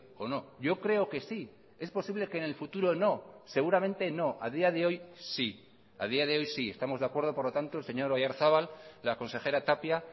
o no yo creo que sí es posible que en el futuro no seguramente no a día de hoy sí a día de hoy sí estamos de acuerdo por lo tanto el señor oyarzabal la consejera tapia